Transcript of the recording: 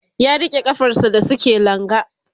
ya rike kafar sa da suke langa